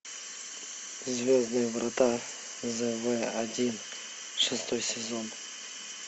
звездные врата зв один шестой сезон